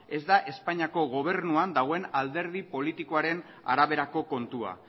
ez da espainiako gobernuan dagoen alderdi politikoaren araberako kontua